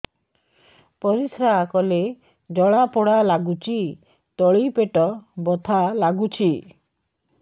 ପରିଶ୍ରା କଲେ ଜଳା ପୋଡା ଲାଗୁଚି ତଳି ପେଟ ବଥା ଲାଗୁଛି